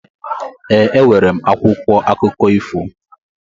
E, e nwere m akwụkwọ akụkọ ifo.